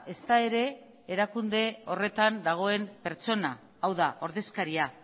ezta ere erakunde horretan dagoen pertsona hau da ordezkaria